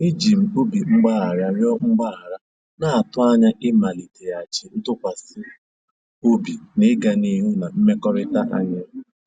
Eji m obi mgbaghara rịọ mgbaghara, na-atụ anya ịmaliteghachi ntụkwasị obi na ịga n'ihu na mmekọrịta anyị.